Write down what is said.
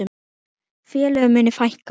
Félögum muni fækka.